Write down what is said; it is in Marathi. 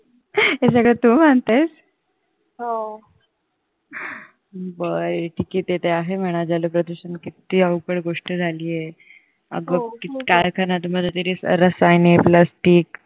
हे सगळं तू म्हणतेस बर ठीक आहे ते आहे म्हणा जलप्रदूषण किती अवघड गोष्ट झाली आहे अग किती कारखान्यांमधून रसायने plastic